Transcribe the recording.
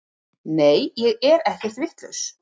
Nei ég er ekkert vitlaus.